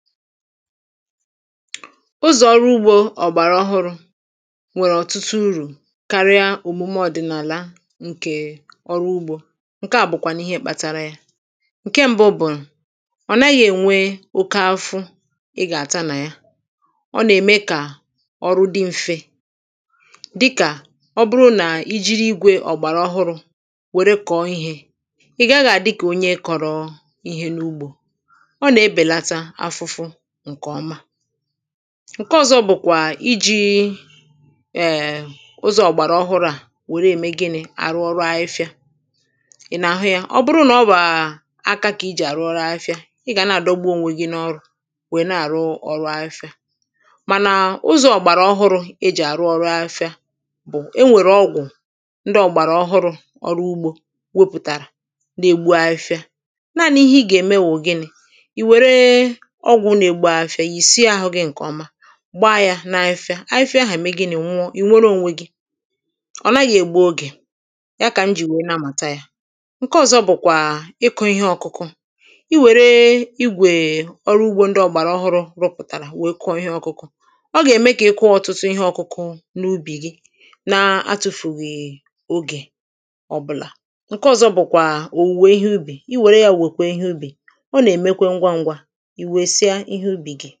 ụzọ̀ ọrụ ugbȯ ọ̀gbàrà ọhụrụ̇ nwèrè ọ̀tụtụ urù karịa òmume ọ̀dị̀nààlà nkè ọrụ ugbȯ ǹke à bụ̀kwànụ̀ ihe mkpatara yȧ ǹke mbụ bụ̀ ọ̀ naghị̇ ènwe oke afụ̇ ị gà-àta nà ya ọ nà-ème kà ọrụ dị mfe dịkà ọ bụrụ nà i jiri igwė ọ̀gbàrà ọhụrụ̇ wère kọ̀ọ ihė ị̀ gaghị̇ àdị kà onye kọ̀rọ̀ ihe n’ugbȯ ǹke ọ̀zọ bụ̀kwà iji̇ eee ụzọ̀ ọ̀gbàrà ọhụrụ̇ à wère ème gịnị̇ àrụ ọrụ afịfịa ị nà-àhụ yȧ ọ bụrụ nà ọ bàà aka kà i jì àrụ ọrụ afịfịa ị gà na-àdọgbu ònwe gịnịọ̇rụ̇ wèe na-àrụ ọrụ afịfịa mànà ụzọ̇ ọ̀gbàrà ọhụrụ̇ e jì àrụ ọrụ afịfịa bụ̀ e nwèrè ọgwụ̀ ndị ọ̀gbàrà ọhụrụ̇ ọrụ ugbȯ wepụ̀tàrà na-ègbu afịfịa naȧnị ihe gà-ème wụ̀ gịnị̇ gbaa yȧ na-afịa afịfịa ahà ème gị nà èwụọ ị̀ nwereònwe gị̇ ọ̀ naghị̇ ègbu ogè ya kà m jì wèe na-amàta yȧ ǹke ọ̇zọ̇ bụ̀kwà ịkụ̇ ihe ọ̇kụ̇kụ̇ i wère igwè ọrụ ugbȯ ndị ọ̀gbàràọhụrụ̇ rụpụ̀tàrà wèe kụọ ihẹ ọ̇kụ̇kụ̇ ọ gà-ème kà ị kụọ ọ̀tụtụ ihe ọ̇kụ̇kụ̇ n’ubì gị na-atụ̇fùghì è ogè ọbụlà ǹke ọ̇zọ̇ bụ̀kwà òwùwè ihe ubì i wère yȧ wèkwà ihe ubì ọ nà èmekwe ngwangwa ihe ubi gị.